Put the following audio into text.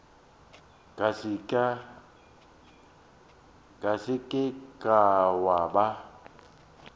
ka se ke wa ba